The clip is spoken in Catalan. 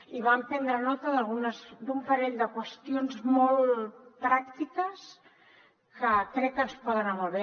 i vam prendre nota d’un parell de qüestions molt pràctiques que crec que ens poden anar molt bé